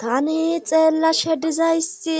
Tani xeella shedizayssi